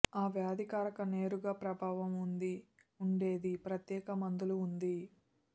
ఆ వ్యాధికారక నేరుగా ప్రభావం ఉంది ఉండేది ప్రత్యేక మందులు ఉంది